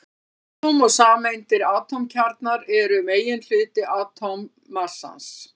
Atóm og sameindir Atómkjarnar eru meginhluti atómmassans.